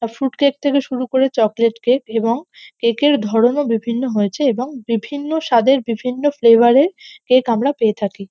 আর fruit cake থেকে শুরু করে চকোলেট কেক এবং কেক -এর ধরনও বিভিন্ন হয়েছে এবং বিভিন্ন স্বাদের বিভিন্ন ফ্লেভার -এর কেক আমরা পেয়ে থাকি।